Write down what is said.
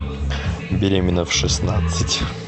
беременна в шестнадцать